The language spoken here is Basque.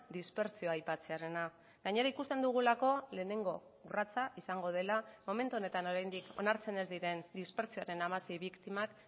dispertsioa aipatzearena gainera ikusten dugulako lehenengo urratsa izango dela momentu honetan oraindik onartzen ez diren dispertsioaren hamasei biktimak